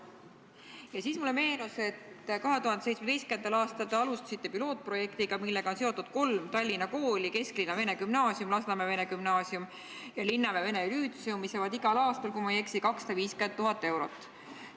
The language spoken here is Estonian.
Ja siis mulle meenus, et 2017. aastal te alustasite pilootprojektiga, millega on seotud kolm Tallina kooli: Kesklinna Vene Gümnaasium, Lasnamäe Vene Gümnaasium ja Linnamäe Vene Lütseum, mis saavad igal aastal, kui ma ei eksi, 250 000 eurot.